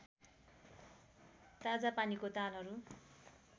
ताजा पानीको तालहरू